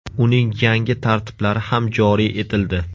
Uning yangi tartiblari ham joriy etildi .